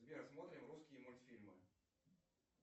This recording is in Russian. сбер смотрим русские мультфильмы